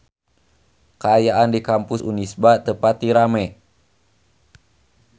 Kaayaan di Kampus Unisba teu pati rame